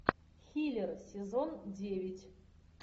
хилер сезон девять